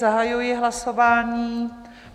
Zahajuji hlasování.